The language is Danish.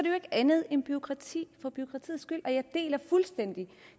jo ikke andet end bureaukrati for bureaukratiets skyld jeg deler fuldstændig